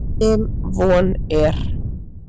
Sem von er.